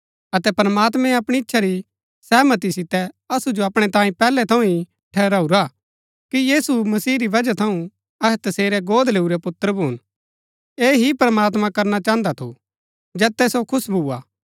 अतै प्रमात्मैं अपणी ईच्‍छा री सैहमती सितै असु जो अपणै तांई पैहलै थऊँ ही ठहराऊरा कि यीशु मसीह री बजहा थऊँ अहै तसेरै गोद लैऊरै पुत्र भून ऐह ही प्रमात्मां करना चाहन्दा थू जैतै सो खुश भूआ